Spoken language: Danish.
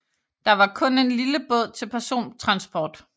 Der var kun en lille båd til persontransport